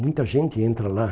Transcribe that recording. Muita gente entra lá.